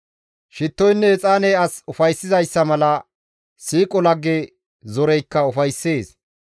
Shittoynne exaaney as ufayssizayssa mala, siiqo lagge zoreykka ufayssees.